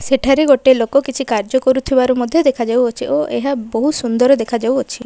ସେଠାରେ ଗୋଟେ ଲୋକ କିଛି କାର୍ଯ୍ୟ କରୁଥିବାର ମଧ୍ୟ ଦେଖା ଯାଉଅଛି ଓ ଏହା ବହୁତ ସୁନ୍ଦର ଦେଖାଯାଉଅଛି।